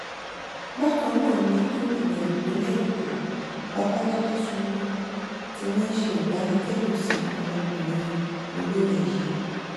bákan náà ni gómìnà ìpínlẹ èkó babájídé sanwoluu ti ránṣẹ ìbánikẹdùn sí ọmọkùnrin olórin yìí